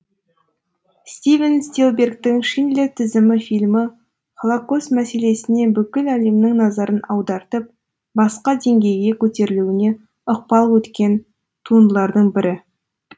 стивен спилбергтің шиндлер тізімі фильмі холокост мәселесіне бүкіл әлемнің назарын аудартып басқа деңгейге көтерілуіне ықпалы өткен туындылардың бірі